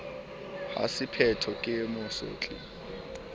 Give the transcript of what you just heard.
ha se pheko ke mosotli